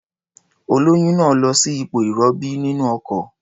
Olóyún náà lọ sí ipò ìrọbí nínú ọkọ̀.